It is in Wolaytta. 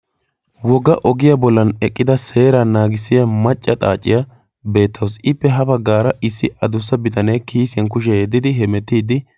woga ogiyaa bollan eqqida seeraa naagissiya macca xaaciyaa beettausiippe ha baggaara issi adussa bitanee kiyisiyan kushiyaa yeddidi hemettiiddi